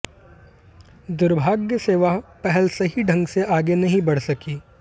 दुर्भाग्य से वह पहल सही ढंग से आगे नहीं बढ़ सकी